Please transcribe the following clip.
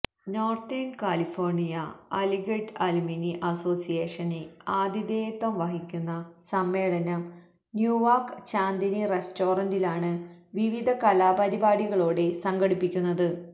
northern California Aligarh alumni association ആതിഥേയത്വം വഹിക്കുന്ന സമ്മേളനം ന്യൂവാക്ക് ചാന്ദിനി റസ്റ്റോറന്റിലാണ് വിവിധ കലാപരിപാടികളോടെ സംഘടിപ്പിക്കുന്നത്